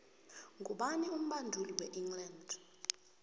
ngubani umbondule we england